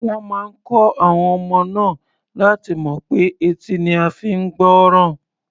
Wọ́n máa kọ́ àwọn ọmọ náà láti mọ̀ pé etí ni a fi ń gbọ́ràn.